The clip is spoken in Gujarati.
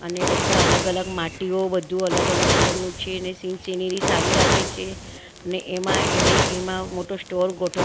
અને બધા અલગ અલગ માટીઓ બધું અલગ અલગ કલર નું છે ને સીન સિનરી સારી લાગે છે ને એમાં એને એમાં મોટો સ્ટોર ગો --